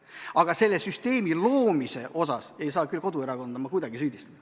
Aga selle süsteemi loomise pärast ei saa ma küll koduerakonda kuidagi süüdistada.